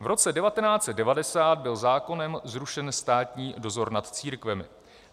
V roce 1990 byl zákonem zrušen státní dozor nad církvemi.